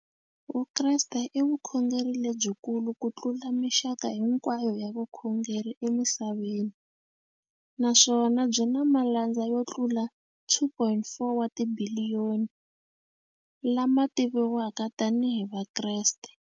Vukreste i vukhongeri lebyikulu kutlula mixaka hinkwayo ya vukhongeri emisaveni, naswona byi na malandza yo tlula 2.4 wa tibiliyoni, la ma tiviwaka tani hi Vakreste.